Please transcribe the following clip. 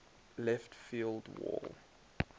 left field wall